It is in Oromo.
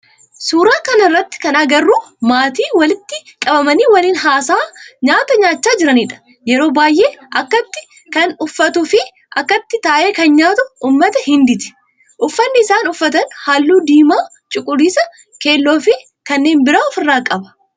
Suuraa kana irratti kana agarru maatii walitti qabamanii waliin haasa'aa nyaata nyaachaa jiranidha. Yeroo baayyee akkatti kan uffatuu fi akkatti taa'ee kan nyaatu ummata Hindiiti. Uffanni isaan uffatan halluu diimaa, cuquliisa, keelloo fi kanneen biraa of irraa qaba.